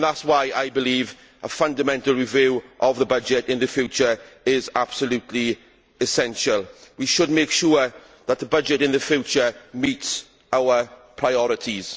That is why a fundamental review of the budget in the future is absolutely essential. We should make sure that the budget in the future meets our priorities.